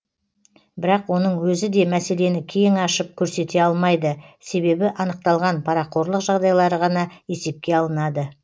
бірақ оның өзі де мәселені кең ашып көрсете алмайды себебі анықталған парақорлық жағдайлары ғана есепке алынады